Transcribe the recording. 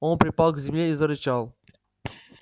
он припал к земле и зарычал